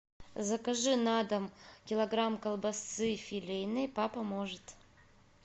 закажи на дом килограмм колбасы филейной папа может